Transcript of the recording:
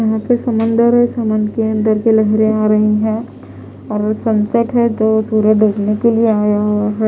वहाँ पे समंदर है समंद के अंदर की लहरें आ रही हैं संकट है तो सूरज डूबने के लिए आया हुआ है।